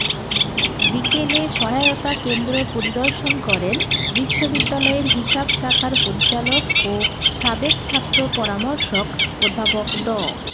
বিকেলে সহায়তা কেন্দ্র পরিদর্শন করেন বিশ্ববিদ্যালয়ের হিসাব শাখার পরিচালক ও সাবেক ছাত্র পরামর্শক অধ্যাপক ড